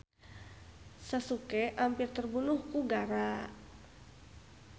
Sasuke ampir terbunuh ku Garaa.